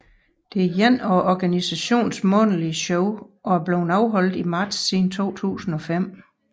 Det er ét af organisationens månedlige shows og er blevet afholdt i marts siden 2005